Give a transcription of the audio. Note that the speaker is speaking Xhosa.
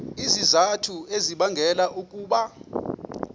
izizathu ezibangela ukuba